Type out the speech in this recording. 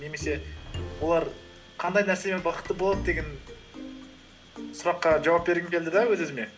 немесе олар қандай нәрсемен бақытты болады деген сұраққа жауап бергім келді де өз өзіме